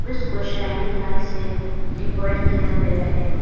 को shining light से decorate किया गया है।